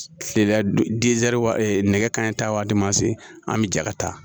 Kile la nɛgɛ kanɲɛ taa waati min se an bɛ ja ka taa